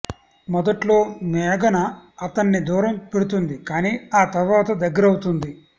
మొదట్లో మేఘన అతడ్ని దూరం పెడుతుంది కానీ ఆ తర్వాత దగ్గరవుతుంది